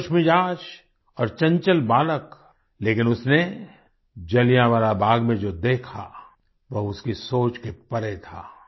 वह खुशमिज़ाज और चंचल बालक लेकिन उसने जलियांवाला बाग में जो देखा वह उसकी सोच के परे था